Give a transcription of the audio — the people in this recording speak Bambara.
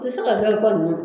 Tɛ se ka